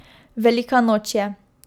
Velika noč je.